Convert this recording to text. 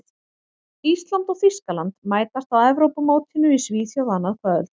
Ísland og Þýskaland mætast á Evrópumótinu í Svíþjóð annað kvöld.